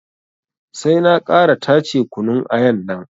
Sai na ƙara tace kunun ayan nan